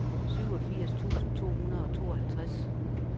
syvogfirs tusind to hundrede og tooghalvtreds